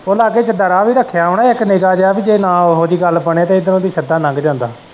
ਉਹ ਲਾਗੇ ਕਿੱਦਾ ਰਾਹ ਵੀ ਰੱਖਿਆ ਹੁਨਾ ਇੱਕ ਨਿੱਕਾ ਜੇਹਾ ਪੀ ਜੇ ਕੋਈ ਉਹੋਂ ਜਿਹੀ ਗੱਲ ਬਣੇ ਤਾਂ ਇੱਧਰੋਂ ਦੀ ਸਿੱਧਾ ਲੰਘ ਜਾਂਦਾ।